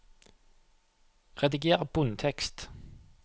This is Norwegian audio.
Rediger bunntekst